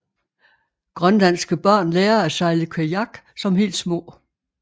Grønlandske børn lærer at sejle kajak som helt små